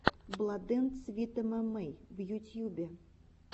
бладэндсвитэмэмэй в ютьюбе